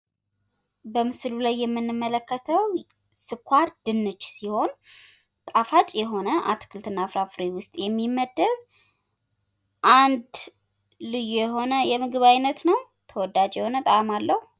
በምስሉ ላይ የምንመለከተው ስኳርድንች ሲሆን ጣፋች የሆነ አትክልት እና ፍራፍሬ ዉስጥ የሚመደብ ፤ አንድ ልዩ የሆነ የምግብ አይነት ነው፣ ተወዳጅ የሆነ ጣእም አለው።